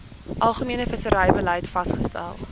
algemene visserybeleid vasgestel